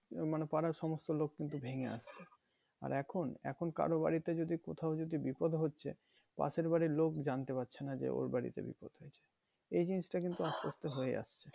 মানে পাড়ার সমস্ত লোক কিন্তু ভেঙে আসতো। আর এখন, এখন কারো বাড়িতে কোথাও কিছু বিপদ হচ্ছে পাশের বাড়ির লোক জানতে পারছে না যে ওর বাড়িতে বিপদ হয়েছে। এই জিনিসটা কিন্তু আস্তে আস্তে হয়ে যাচ্ছে